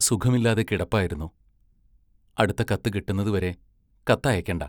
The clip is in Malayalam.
സുഖമില്ലാതെ കിടപ്പായിരുന്നു; അടുത്ത കത്ത് കിട്ടുന്നതുവരെ കത്തയയ്ക്കേണ്ട.